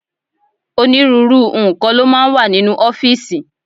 Onírúurú nǹkan ló máa ń wà nínú ọ́fíìsì.